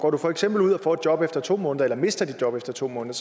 går du for eksempel ud og får et job efter to måneder eller mister dit job efter to måneder